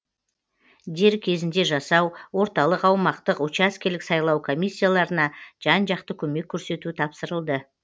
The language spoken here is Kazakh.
дер кезінде жасау орталық аумақтық учаскелік сайлау комиссияларына жан жақты көмек көрсету тапсырылды